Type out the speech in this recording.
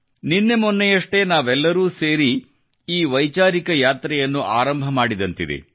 ನಿನ್ನೆ ಮೊನ್ನೆಯಷ್ಟೇ ನಾವೆಲ್ಲರೂ ಸೇರಿ ಈ ವೈಚಾರಿಕ ಸೈದ್ಧಾಂತಿಕ ಯಾತ್ರೆಯನ್ನು ಆರಂಭ ಮಾಡಿದಂತಿದೆ